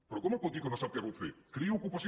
però com em pot que no sap què pot fer creï ocupació